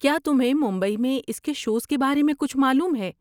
کیا تمہیں ممبئی میں اس کے شوز کے بارے میں کچھ معلوم ہے؟